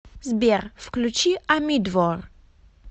сбер включи амидвор